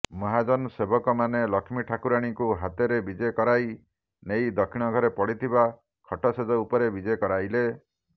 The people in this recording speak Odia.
ମହାଜନ ସେବକମାନେ ଲକ୍ଷ୍ମୀଠାକୁରାଣୀଙ୍କୁ ହାତରେ ବିଜେ କରାଇ ନେଇ ଦକ୍ଷିଣଘରେ ପଡିଥିବା ଖଟଶେଯ ଉପରେ ବିଜେ କରାଇଥିଲେ